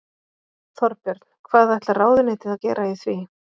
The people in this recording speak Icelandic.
Þorbjörn: Hvað ætlar ráðuneytið að gera í því?